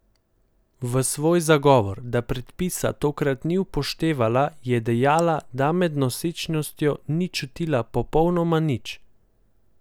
V svoj zagovor, da predpisa tokrat ni upoštevala, je dejala, da med nosečnostjo ni čutila popolnoma nič.